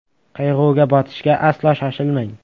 Qayg‘uga botishga aslo shoshilmang!